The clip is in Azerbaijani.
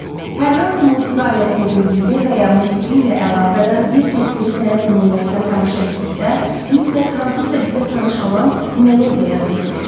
Hər hansı musiqi alətini gördükdə və ya musiqi ilə əlaqədar bir təsviri sənət nümunəsinə tamaşa etdikdə mütləq hansısa bizə tanış olan melodiya yadımıza düşür.